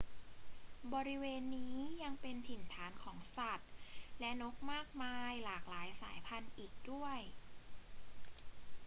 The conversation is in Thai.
บริเวณนี้ยังเป็นถิ่นฐานของสัตว์และนกมากมายหลายหลากสายพันธุ์อีกด้วย